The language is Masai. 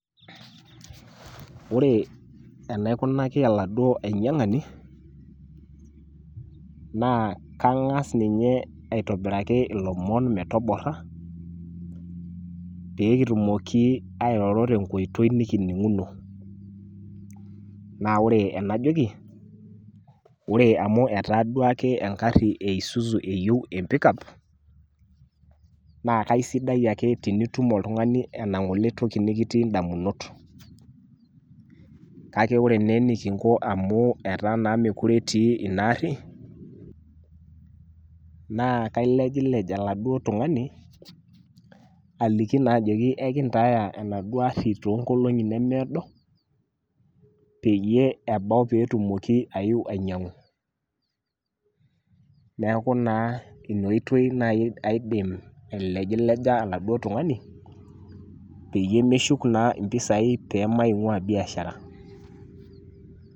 Ore enaikunaki oladuoo ainyiangani naa kangas ninye aitobiraki ilomon metobora pee kitumoki airoro tenkoitoi nikininguno naa ore enajoki , ore amu etaa duake engari e isuzu eyieu empikap naa kaisidai ake tenitum oltungani ena ngole ake toki nikitii ndamunot. Kake ore naa enikinko amu etaa naa mokire etii enaduo ari naa kailejlej oladuo tungani aliki naa ajoki enkintaaya enaduo gari toonkolongi nemeedo pee etumoki naa aeu ainyiangu. Niaku naa ina oitoi naa aidim ailejileja oladuoo tungani peyie meshuk naa mpisai pemaingwaa biashara .